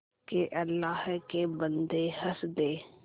के अल्लाह के बन्दे हंस दे